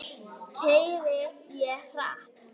Keyri ég hratt?